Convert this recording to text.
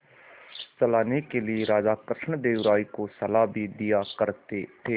चलाने के लिए राजा कृष्णदेव राय को सलाह भी दिया करते थे